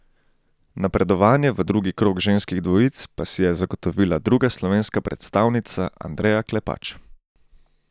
Napredovanje v drugi krog ženskih dvojic pa si je zagotovila druga slovenska predstavnica Andreja Klepač.